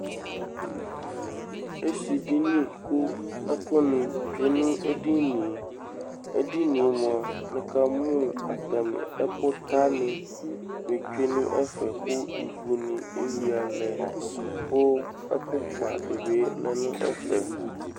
Esidini kʋ ɛkʋnɩ tsue nʋ edini yɛ Edini yɛ mʋa, nɩkamʋ atamɩ ɛkʋtanɩ sɛ tsue nʋ ɛfɛ kʋ ivunɩ eyuiǝ lɛ kʋ ɛkʋkpa dɩ bɩ lɛ nʋ ɛfɛ